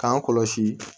K'an kɔlɔsi